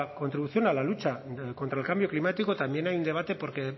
contribución a la lucha contra el cambio climático también hay un debate porque